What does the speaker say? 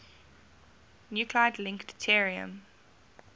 nuclide link deuterium